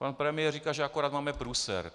Pan premiér říká, že akorát máme průser.